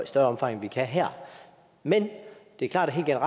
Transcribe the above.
større omfang end vi kan her men det er klart at jeg